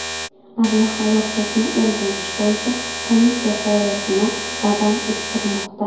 Aviahalokatni o‘rganish bo‘yicha komissiya faoliyatini davom ettirmoqda.